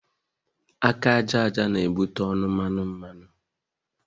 Aka àjàja na ebute ọnụ mmanụ mmanụ